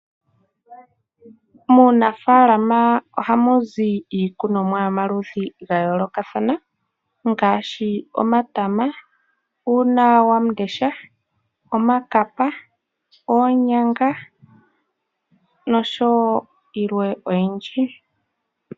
Muunafaalama ohamu zi iikunomwa yomaludhi gayoolokathana ngaashi omatama, uunawamundesha, iikapa, oonyanga nosho wo yilwe oyindji.